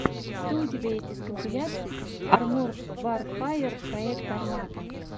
что у тебя есть из компиляций арморд варфэер проект армата